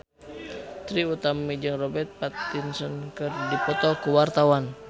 Trie Utami jeung Robert Pattinson keur dipoto ku wartawan